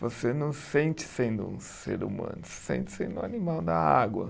Você não sente sendo um ser humano, você sente sendo um animal da água.